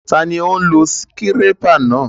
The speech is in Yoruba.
Taló n lo síkírépà náà?